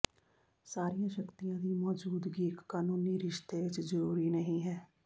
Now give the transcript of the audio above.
ਸਾਰੀਆਂ ਸ਼ਕਤੀਆਂ ਦੀ ਮੌਜੂਦਗੀ ਇਕ ਕਾਨੂੰਨੀ ਰਿਸ਼ਤੇ ਵਿਚ ਜ਼ਰੂਰੀ ਨਹੀਂ ਹੈ